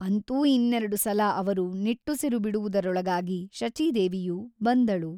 ಅಂತೂ ಇನ್ನೆರಡು ಸಲ ಅವರು ನಿಟ್ಟುಸಿರುಬಿಡುವುದರೊಳಗಾಗಿ ಶಚೀದೇವಿಯು ಬಂದಳು.